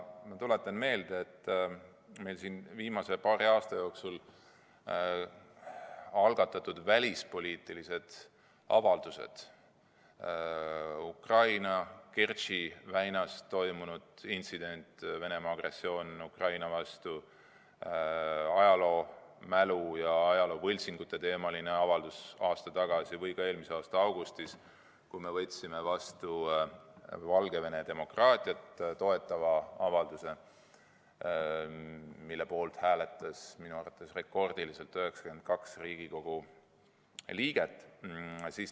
Ma tuletan meelde meil siin viimase paari aasta jooksul algatatud välispoliitilisi avaldusi: Ukrainas Kertši väinas toimunud intsidendiga, Venemaa Ukraina-vastase agressiooniga seotud avaldus, ajaloomälu ja ajaloovõltsingute teemaline avaldus aasta tagasi, samuti eelmise aasta augustis vastu võetud Valgevene demokraatiat toetav avaldus, mille poolt hääletas minu teada rekordiliselt 92 Riigikogu liiget.